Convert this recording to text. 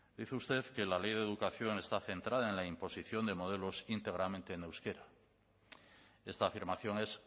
dice usted que la ley de educación está centrada en la imposición de modelos íntegramente en euskera esta afirmación es